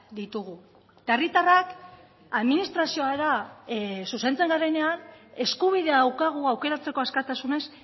ditugu eta herritarrak administraziora zuzentzen garenean eskubidea daukagu aukeratzeko askatasunez